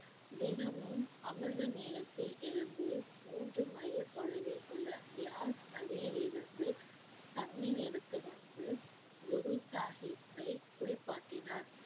தினமும் அமிர்த நேரத்தில் எழுந்து மூன்று மைல் தொலைவில் உள்ள பியார்ஸ் நதியில் இருந்து தண்ணீர் எடுத்து வந்து குரு சாஹிப்பை குளிப்பாட்டினார்